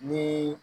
Ni